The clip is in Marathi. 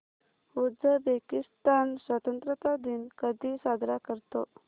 उझबेकिस्तान स्वतंत्रता दिन कधी साजरा करतो